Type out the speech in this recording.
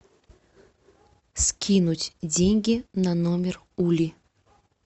скинуть деньги на номер ули